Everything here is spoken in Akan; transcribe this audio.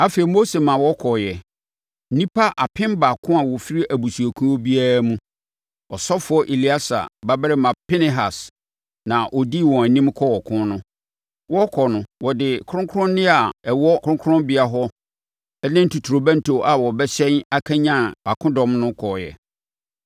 Afei Mose ma wɔkɔeɛ, nnipa apem baako a wɔfiri abusuakuo biara mu. Ɔsɔfoɔ Eleasa babarima Pinehas na ɔdii wɔn anim kɔɔ ɔko no. Wɔrekɔ no, wɔde kronkronneɛ a ɛwɔ kronkronbea hɔ ne totorobɛnto a wɔbɛhyɛn akanyane akodɔm no kɔeɛ.